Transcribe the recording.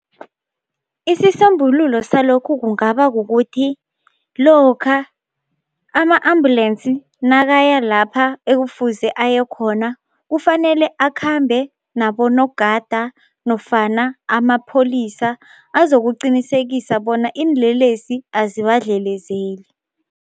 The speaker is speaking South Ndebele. Isisombululo salokhu kungaba kukuthi lokha ama-ambulensi nakaya lapha ekufuze aye khona kufanele akhambe nabonogada nofana amapholisa azokuqinisekisa bona iinlelesi azibadlelezeli.